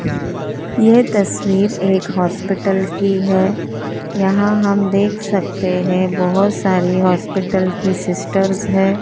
यह तस्वीर एक हॉस्पिटल की है यहां हम देख सकते हैं बहुत सारी हॉस्पिटल की सिस्टर्स हैं।